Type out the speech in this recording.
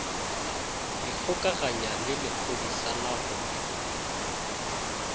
ikgokaganya le lephodisa la go